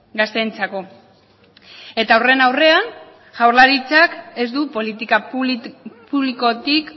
gazteentzako eta horren aurrean jaurlaritzak ez du politika publikotik